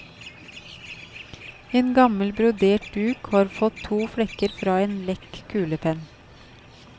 En gammel brodert duk har fått to flekker fra en lekk kulepenn.